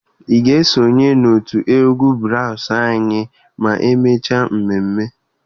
Ị ga-esonye n'òtù egwu braasụ anyị ma emechaa mmemme?